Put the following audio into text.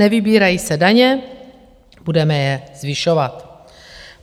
Nevybírají se daně, budeme je zvyšovat.